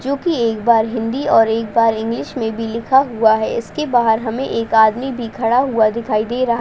जोकि एक बार हिंदी और एक बार इंग्लिश में भी लिखा हुआ है इसके बाहर हमें एक आदमी भी खड़ा हुआ दिखाई दे रहा --